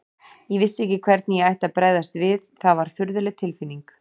Ég vissi ekki hvernig ég ætti að bregðast við, það var furðuleg tilfinning.